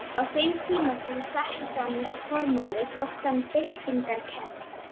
Á þeim tíma sem hann setti fram þessa formúlu þótti hún byltingarkennd.